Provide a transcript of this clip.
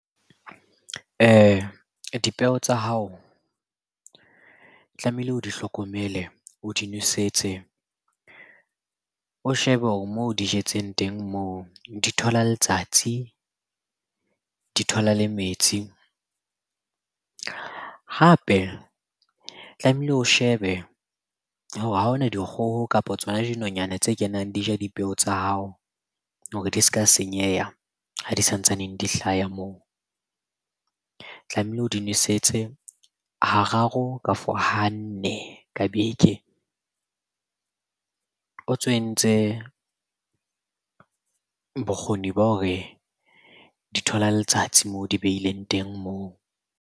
Dipeo tsa hao o tlamehile o di hlokomele, o di nosetse. O shebe hore moo di jetsweng teng moo di thola letsatsi, di thola le metsi. Hape tlamehile o shebe hore ha ona dikgoho, kapo tsona dinonyana tse kenang di ja dipeo tsa hao hore di s'ka senyeha ha di sa ntsaneng di hlaya moo. Tlamehile o di nosetse hararo kafo ha nne ka beke. O ntso entse bokgoni ba hore di thola letsatsi moo o di behileng teng moo.